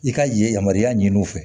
I ka ye yamaruya ɲini u fɛ